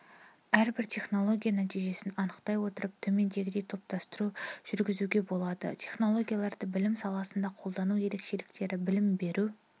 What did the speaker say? әрбір технология нәтежесін анықтай отырып төмендегідей топтастыру жүргізуге болады технологияларды білім саласында қолдану ерекшеліктері білім беру